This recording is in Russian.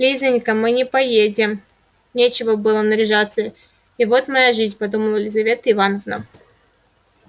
лизанька мы не поедем нечего было наряжаться и вот моя жизнь подумала лизавета ивановна